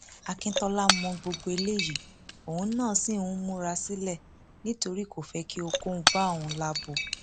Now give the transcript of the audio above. akíntola mọ gbogbo eléyìí òun náà ṣì ń múra sílẹ nítorí kò fẹ kí ohunkóhun bá òun lábo